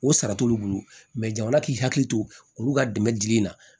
O sara t'olu bolo jamana k'i hakili to olu ka dɛmɛ dili ma